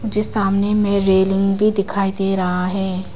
सामने में रेलिंग भी दिखाई दे रहा है।